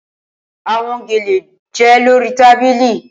Awọn gele jẹ lori tabili